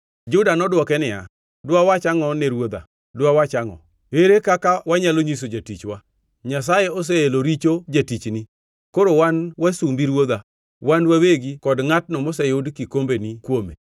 Juda nodwoke niya, “Dwa wach angʼo ne ruodha? Dwa wach angʼo? Ere kaka wanyalo nyiso jatichwa? Nyasaye oseelo richo jatichni. Koro wan wasumbi ruodha; wan wawegi kod ngʼatno moseyud kikombeni kuome.”